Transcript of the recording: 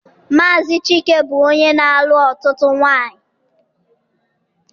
Maazi Chike bụ onye na-alụ ọtụtụ nwanyị.